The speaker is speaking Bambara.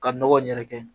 Ka nɔgɔ yɛrɛkɛ